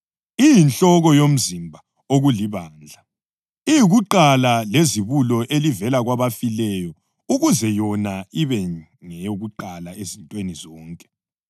Iyinhloko yomzimba okulibandla; iyikuqala lezibulo elivela kwabafileyo ukuze yona ibe ngeyokuqala ezintweni zonke.